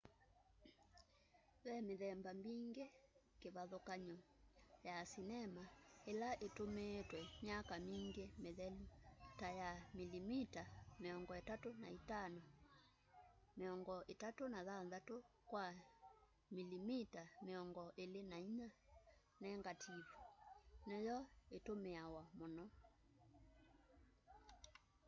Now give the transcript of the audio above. ve mithemba mingi kivathukany'o ya sinema ila itumiitwe myaka mingi mithelu. ta ya milimita 35 36 kwa milimita 24 nengativu niyo itumiawa muno